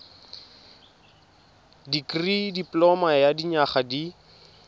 dikirii dipoloma ya dinyaga di